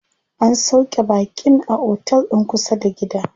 An sauƙe baƙin a otel din kusa da gida.